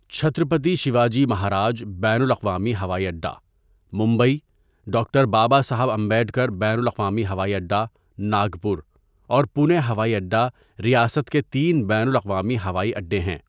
چھترپتی شیواجی مہاراج بین الاقوامی ہوائی اڈہ، ممبئی، ڈاکٹر بابا صاحب امبیڈکر بین الاقوامی ہوائی اڈہ، ناگپور، اور پونے ہوائی اڈہ ریاست کے تین بین الاقوامی ہوائی اڈے ہیں۔